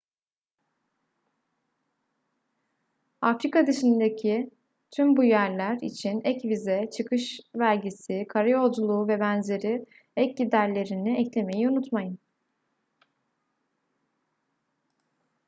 afrika dışındaki tüm bu yerler için ek vize çıkış vergisi kara yolculuğu vb ek giderlerini eklemeyi unutmayın